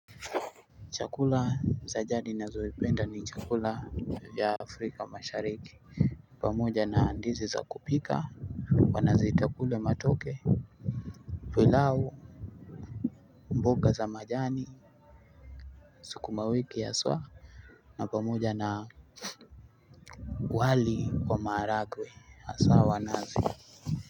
Chakula za jadi ninazopenda ni chakula ya afrika mashariki. Pamoja na andizi za kupika wanaziita kule matoke pilau mboga za majani sukuma wiki ya swa. Na pamoja na wali wa maharagwe haswa wa nazi.